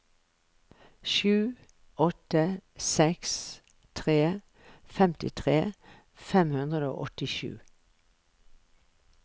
sju åtte seks tre femtitre fem hundre og åttisju